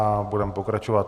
A budeme pokračovat.